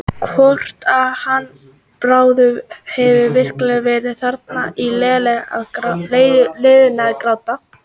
Hvort hann Bárður hefði virkilega verið þarna á leiðinu að gráta.